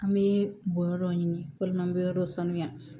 An bɛ bɔ yɔrɔ dɔ ɲini walima an bɛ yɔrɔ dɔ sanuya